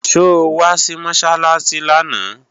So wá sí Mọ́sálásí lánàá?